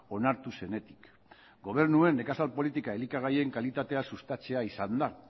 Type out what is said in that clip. onartu zenetik gobernuen nekazal politika elikagaien kalitatea sustatzea izan da